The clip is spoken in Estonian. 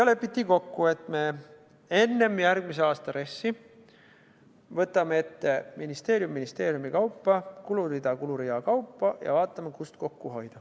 Lepiti kokku, et me enne järgmise aasta RES-i võtame ette ministeerium ministeeriumi järel, kulurida kulurea järel ja vaatame, kust kokku hoida.